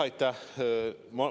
Aitäh!